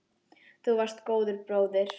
Þú varst svo góður bróðir.